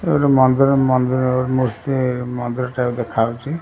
ଏ ଗୋଟେ ମନ୍ଦିର ମନ୍ଦିର ମୂର୍ତ୍ତି ମନ୍ଦିର ଠାରେ ଦେଖା ଯାଉଛି ।